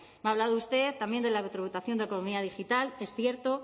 me ha hablado usted también de la tributación de economía digital que es cierto